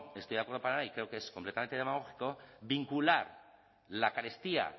estoy de acuerdo para nada y creo que es completamente demagógico vincular la carestía